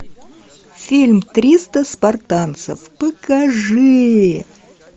фильм триста спартанцев покажи